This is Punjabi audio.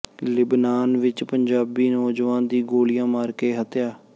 ਲਿਬਨਾਨ ਵਿਚ ਪੰਜਾਬੀ ਨੌਜਵਾਨ ਦੀ ਗੋਲੀਆਂ ਮਾਰ ਕੇ ਹੱਤਿਆ